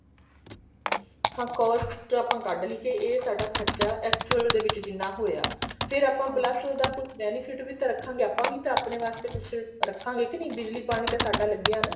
of course ਕੇ ਆਪਾਂ ਕੱਡਲੀ ਕੇ ਸਾਡਾ ਖਰਚਾ actual ਦੇ ਵਿੱਚ ਜਿੰਨਾ ਹੋਇਆ ਫ਼ੇਰ ਆਪਾਂ plus ਉਹਦਾ benefit ਵੀ ਤਾਂ ਰੱਖਾਗੇ ਆਪਾਂ ਵੀ ਤਾਂ ਆਪਣੇ ਵਾਸਤੇ ਕੁਛ ਰੱਖ਼ਾਗੇ ਕੇ ਨਹੀਂ ਬਿਜਲੀ ਪਾਣੀ ਤਾਂ ਸਾਡਾ ਲੱਗਿਆ ਨਾ